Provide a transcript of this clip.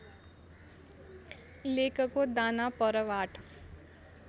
लेकको दाना परवाट